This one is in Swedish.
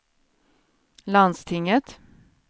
landstinget